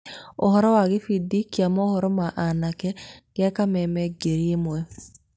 ũhoro wa gĩbindi kĩa mohoro ma anake gĩa kameme ngiri ĩmwe.